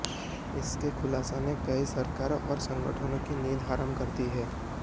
इसके खुलासों ने कई सरकारों और संगठनों की नींद हराम कर दी है